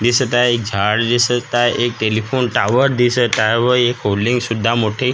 दिसत आहे एक झाड दिसत आहे एक टेलिफोन टॉवर दिसत आहे व एक होल्डिंग सुद्धा मोठी --